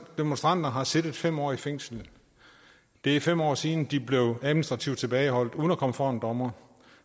demonstranter har siddet fem år i fængsel det er fem år siden at de blev administrativt tilbageholdt uden at komme for en dommer